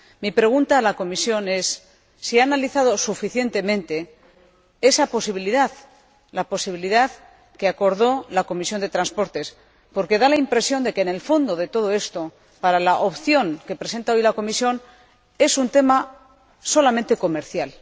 Mi pregunta a la Comisión es si ha analizado suficientemente esa posibilidad, la posibilidad que acordó la Comisión de Transportes, porque da la impresión de que en el fondo de todo esto, para la opción que presenta hoy la Comisión, hay un tema exclusivamente comercial.